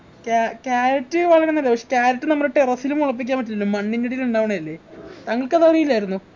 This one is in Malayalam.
കാ carrot വളരൊന്നില്ല ഇല്ല പക്ഷെ carrot നമ്മടെ terrace ന് മുളപ്പിക്കാൻ പറ്റില്ല മണ്ണിനടിയിൽ ഉണ്ടാവുണയല്ലേ താങ്കൾക്ക് അത് അറിയില്ലായിരുന്നോ